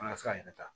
An ka se k'a yɛrɛ ta